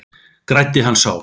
Græddi hann sár